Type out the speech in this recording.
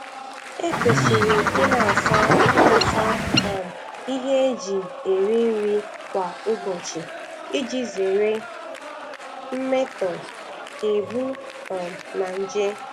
Ekwesịrị ị na-asa na-asa um ihe eji eri nri kwa ụbọchị iji zere mmetọ, ebu um na nje.